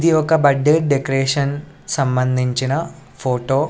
ఇది ఒక birthday decoration సంబంధించిన ఫోటో .